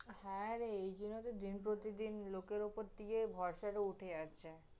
হ্যাঁরে, এইজন্য়ই তহ দিন-প্রতিদিন লোকের উপর থেকে ভরসাটা উঠে যাচ্ছে